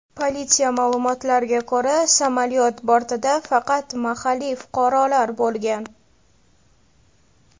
Politsiya ma’lumotiga ko‘ra, samolyot bortida faqat mahalliy fuqarolar bo‘lgan.